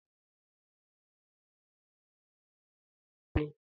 Arọ gara aga, e jere m ụlọ ụmụaka enweghị nne.